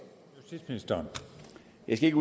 det er lidt